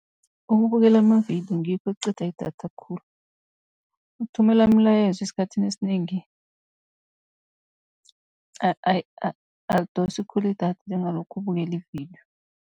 Ukubukela amavidiyo ngikho ekuqeda idatha khulu, ukuthumela imilayezo esikhathini esinengi akudosi khulu idatha, njengalokha ubukela ividiyo.